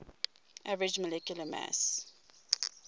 average molecular mass